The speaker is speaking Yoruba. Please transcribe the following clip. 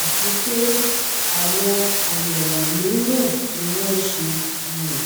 àti pé àwọn àyẹ̀wò mìíràn ni wọ́n ṣe um